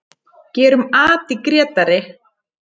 Gerum at í Grétari!